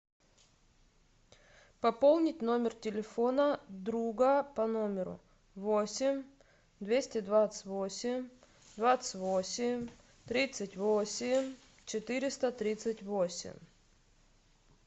пополнить номер телефона друга по номеру восемь двести двадцать восемь двадцать восемь тридцать восемь четыреста тридцать восемь